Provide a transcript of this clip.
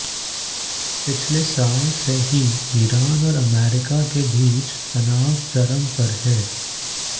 पिछले साल से ही ईरान और अमेरिका के बीच तनाव चरम पर है